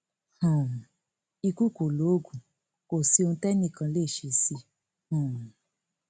um ikú kọ loògùn kò sí ohun tẹnìkan kan lè ṣe sí i um